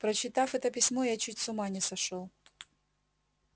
прочитав это письмо я чуть с ума не сошёл